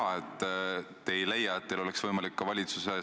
Ja mitte kuidagi ei saa ma öelda, et see on nüüd poliitiline võitlus.